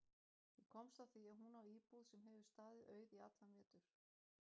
Ég komst að því að hún á íbúð sem hefur staðið auð í allan vetur.